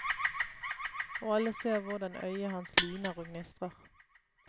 Og alle ser hvordan øyet hans lyner og gnistrer.